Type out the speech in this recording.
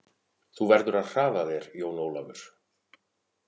Þú verður að hraða þér Jón Ólafur!